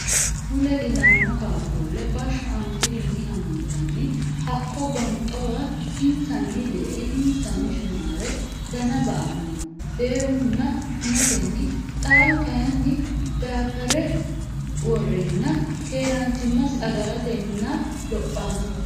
Mule ilamo qaaqqule basho anfirinni amandanni hakko gonxowa insanni de"ee insanni shumare dana ba"ano deunna shumatenni xaahu kayini dabere worrenna keerachimasi agaratenna lophano